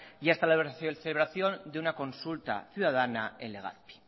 y hasta la celebración de una consulta ciudadana en legazpi